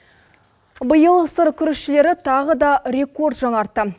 биыл сыр күрішшілері тағы да рекорд жаңартты